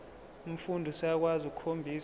umfundi useyakwazi ukukhombisa